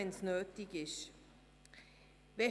Wir haben diese Instrumente also.